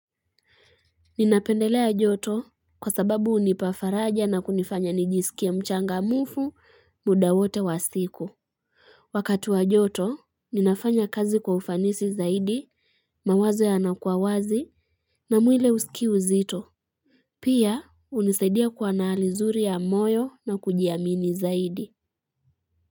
Ninapendelea joto kwa sababu hunipa faraja na kunifanya nijisikie mchangamfu muda wote wa siku. Wakati wa joto, ninafanya kazi kwa ufanisi zaidi, mawazo yanakua wazi na mwili husikii uzito. Pia, hunisaidia kuwa na hali nzuri ya moyo na kujiamini zaidi.